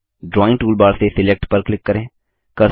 फिर drawing toolbar से select पर क्लिक करें